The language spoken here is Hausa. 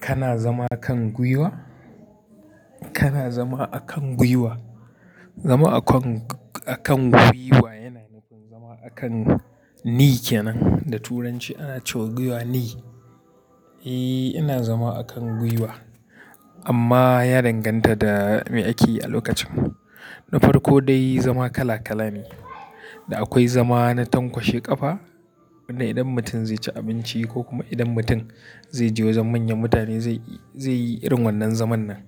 Kana zama kan guiwa? Kana zama akan guiwa. Zama akan, akan guiwa yana nufin zama akan knee kenan da turanci ana cewa guiwa knee. Eh, ina zama akan guiwa amma ya danganta da me ake yi a lokacin. Nufar ko dai zama kala kala ne da akwai zama na tankwashe kafa, wanda idan mutum zai ci abinci ko kuma idan mutum zai je wajen manyan mutane zai yi, zai yi irin wannan zaman nan.,